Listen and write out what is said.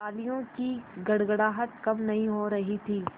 तालियों की गड़गड़ाहट कम नहीं हो रही थी